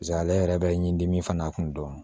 Paseke ale yɛrɛ bɛ ɲi dimi fana kun dɔn